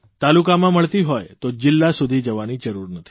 તાલુકામાં મળતી હોય તો જીલ્લા સુધી જવાની જરૂર નથી